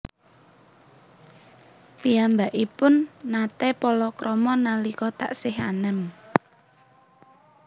Piyambakipun naté palakrama nalika taksih anem